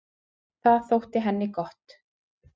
Það þótti henni gott.